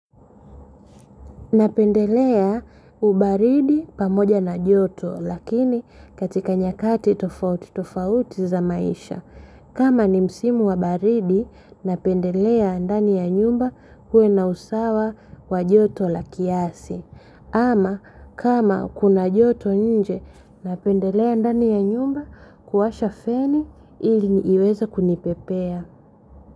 Napendelea ubaridi pamoja na joto lakini katika nyakati tofauti za maisha. Kama ni msimu wabaridi napendelea ndani ya nyumba uwe na usawa wa joto la kiasi. Ama kama kuna joto nje napendelea ndani ya nyumba kuwasha feni ili iweze kunipepea.